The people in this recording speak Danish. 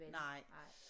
Nej